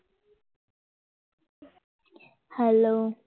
hello